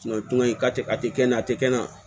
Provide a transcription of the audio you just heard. a tɛ kɛ na a tɛ kɛnɛ